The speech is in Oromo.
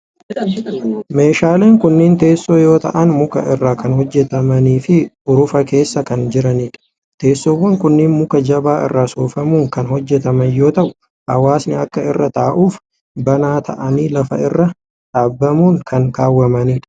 Meeshaaleen kunneen teessoo yoo ta'an, muka irraa kan hojjatamanii fi urufa keessa kan jiranii dha. Teessoowwan kunneen muka jabaa irraa soofamuun kan hojjataman yoo ta'u, hawaasni akka irra ta'uuf banaa ta'anii lafa irra dhaabamuun kan kaawwamanii dha.